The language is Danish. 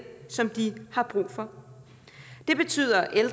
som de har brug for det betyder at